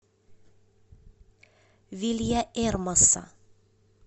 вильяэрмоса